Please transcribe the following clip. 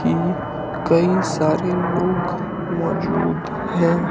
कि कई सारे लोग मौजूद हैं।